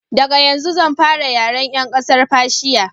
daga yanzu zan fara yaren yan ƙasar fashiya